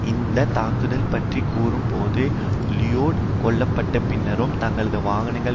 இந்த தாக்குதல் பற்றி கூறும் போது லிலோய்டு கொல்ல பட்ட பின்னரும் தங்களது வாகனங்கள்